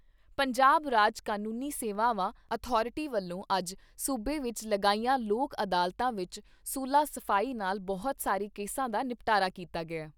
ਪੰਜਾਬ ਰਾਜ ਕਾਨੂੰਨੀ ਸੇਵਾਵਾਂ ਅਥਾਰਟੀ ਵੱਲੋਂ ਅੱਜ ਸੂਬੇ ਵਿਚ ਲਗਾਈਆਂ ਲੋਕ ਅਦਾਲਤਾਂ ਵਿਚ ਸੁਲਾ ਸਫ਼ਾਈ ਨਾਲ ਬਹੁਤ ਸਾਰੇ ਕੇਸਾਂ ਦਾ ਨਿਪਟਾਰਾ ਕੀਤਾ ਗਿਆ।